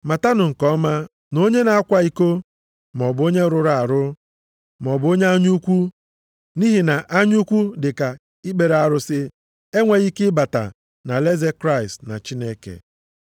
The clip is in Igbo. Matanụ nke ọma na onye na-akwa iko, maọbụ onye rụrụ arụ, maọbụ onye anya ukwu, nʼihi na anya ukwu dị ka ikpere arụsị, enweghị ike ịbata nʼalaeze Kraịst na Chineke.